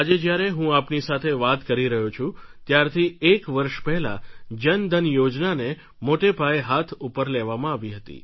આજે જ્યારે હું આપની સાથે વાત કરી રહ્યો છું ત્યારથી એક વર્ષ પહેલા જન ધન યોજનાને મોટા પાયે હાથ ઉપર લેવામાં આવી હતી